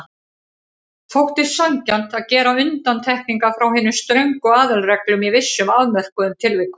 Þótti sanngjarnt að gera undantekningar frá hinum ströngu aðalreglum í vissum afmörkuðum tilvikum.